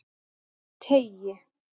Teigi